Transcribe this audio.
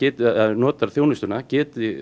notar þjónustuna geti